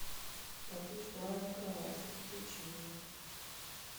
по ту сторону кровати включи мне